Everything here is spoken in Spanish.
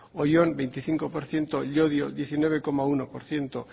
oyón veinticinco por ciento llodio diecinueve coma uno por ciento